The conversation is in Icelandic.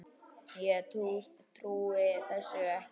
Ég trúi þessu nú ekki!